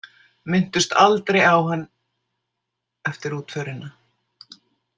Minntust aldrei á hann eftir útförina.